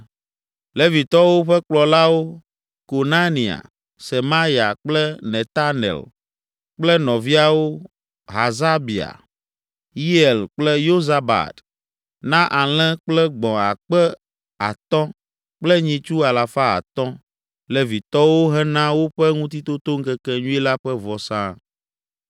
Levitɔwo ƒe kplɔlawo, Konania, Semaya kple Netanel kple nɔviawo, Hasabia, Yeiel kple Yozabad na alẽ kple gbɔ̃ akpe atɔ̃ (5,000) kple nyitsu alafa atɔ̃ (500) Levitɔwo hena woƒe Ŋutitotoŋkekenyui la ƒe vɔsa.